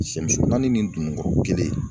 Sɛmuso naani ni dununkɔrɔ kelen